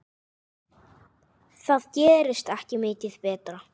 Það gerist ekki mikið betra.